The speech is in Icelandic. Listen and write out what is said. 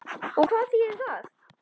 Og hvað þýðir það?